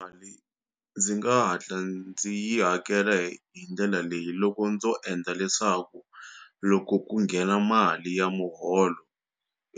Mali ndzi nga hatla ndzi yi hakela hi hi ndlela leyi loko ndzo endla leswaku loko ku nghena mali ya muholo